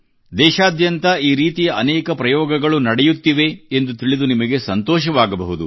ದೇಶಾದ್ಯಂತ ಈ ರೀತಿಯ ಅನೇಕ ಪ್ರಯೋಗಗಳು ನಡೆಯುತ್ತಿದೆ ಎಂದು ತಿಳಿದು ನಿಮಗೆ ಸಂತೋಷವಾಗಬಹುದು